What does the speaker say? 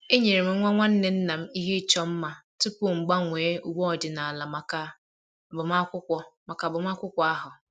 enyere m nwa nwanne nna m ihe ịchọ mma tupu m gbanwee uwe ọdịnala maka agbamakwụkwọ maka agbamakwụkwọ ahụ